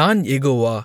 நான் யெகோவா